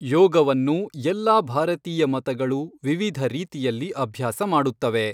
ಯೋಗವನ್ನು ಎಲ್ಲಾ ಭಾರತೀಯ ಮತಗಳು ವಿವಿಧ ರೀತಿಯಲ್ಲಿ ಅಭ್ಯಾಸ ಮಾಡುತ್ತವೆ.